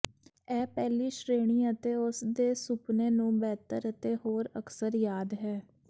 ਇਹ ਪਹਿਲੀ ਸ਼੍ਰੇਣੀ ਅਤੇ ਉਸ ਦੇ ਸੁਪਨੇ ਨੂੰ ਬਿਹਤਰ ਅਤੇ ਹੋਰ ਅਕਸਰ ਯਾਦ ਹੈ